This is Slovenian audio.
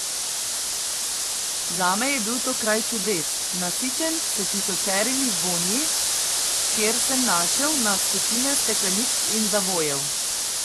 Zame je bil to kraj čudes, nasičen s tisočerimi vonji, kjer sem našel na stotine stekleničk in zavojev.